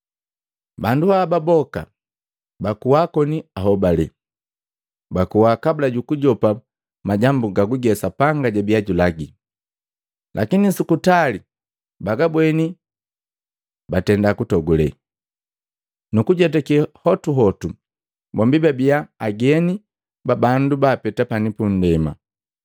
Bandu haba boka bakuwa koni ahobale. Bakuwa kabula ju kujopa majambu gaguge Sapanga jabiya julagi, lakini su kutali bagabweni, batenda kutogule, nu kujetake hotuhotu bombi babii ageni na bandu baapeta pani pu ndema.